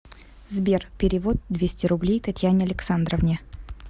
сбер перевод двести рублей татьяне александровне